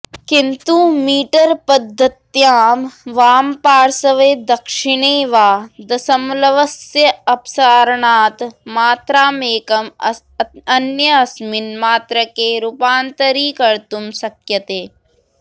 किन्तु मीटरपध्दत्यां वामपार्श्वे दक्षिणे वा दशमलवस्य अपसारणात् मात्राकमेकं अन्यस्मिन् मात्रके रूपान्तरीकर्त्तुं शक्यते